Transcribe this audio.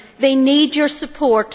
They need your support